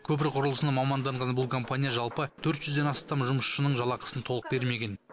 көпір құрылысына маманданған бұл компания жалпы төрт жүзден астам жұмысшының жалақысын толық бермеген